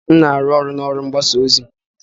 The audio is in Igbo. M na-arụ ọrụ na ụlọ ọrụ mgbasa ozi.